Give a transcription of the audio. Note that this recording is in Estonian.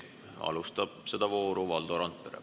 Vooru alustab Valdo Randpere.